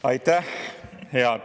Aitäh!